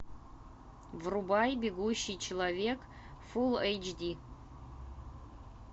врубай бегущий человек фул эйч ди